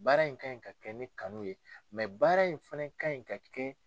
Baara in kan ɲi ka kɛ ni kanu ye baara in fana ka ɲi ka kɛ